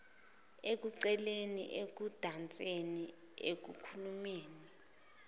ekuculeni ekudanseni ekukhulumeni